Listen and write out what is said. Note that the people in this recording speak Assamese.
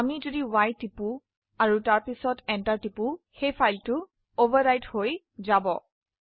আমি যদি y টিপি আৰু তাৰপিছত Enter টিপি তাহলে ফাইল অভাৰৰাইট হয়ে যায়